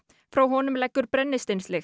frá honum leggur